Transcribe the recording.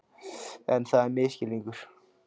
En það er misskilningur.